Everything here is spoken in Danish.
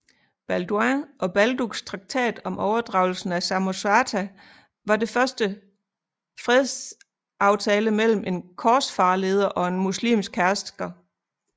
Balduin og Balduks traktat om overdragelsen af Samosata var det første fredsaftale mellem en korsfarerleder og en muslimsk hersker